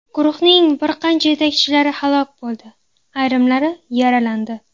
Guruhning bir qancha yetakchilari halok bo‘ldi, ayrimlari yaralandi.